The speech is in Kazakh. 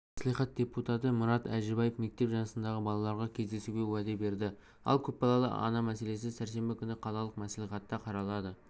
қалалық мәслихат депутаты мұрат әжібаев мектеп жасындағы балаларға көмектесуге уәде берді ал көпбалалы ана мәселесі сәрсенбі күні қалалық мәслихатта қаралады